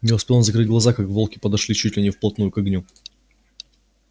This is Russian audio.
не успел он закрыть глаза как волки подошли чуть ли не вплотную к огню